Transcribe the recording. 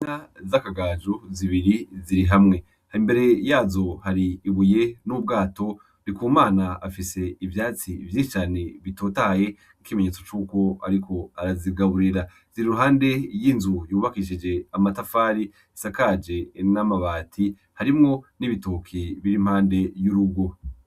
Inka z'akagajo zibiri ziri hamwe, imbere yazo har'ibuye n'ubwato. Ndikumana afis'ivyatsi vyinshi cane bitotahaye nk'ikimenyetso c'uko ariko arazigaburira ,zir'iruhande y'inzu yubakishije amatafari isakaje n'amabati, harimwo n'igitoki bir impande y'urugo.